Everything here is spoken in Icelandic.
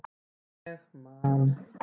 Ég man